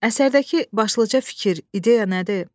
Əsərdəki başlıca fikir, ideya nədir?